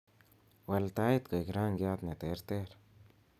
wal tait koik rangiat neterter